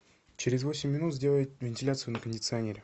через восемь минут сделай вентиляцию на кондиционере